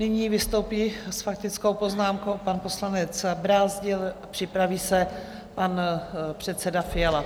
Nyní vystoupí s faktickou poznámkou pan poslanec Brázdil, připraví se pan předseda Fiala.